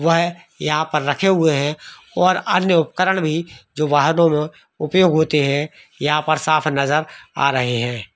वहयहाँ पर रखे हैं और अन्य उपकरण भी जो वाहनो में उपयोग होते हैं यहाँ पर साफ नजर आ रहे हैं।